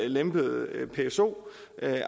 lempelse af pso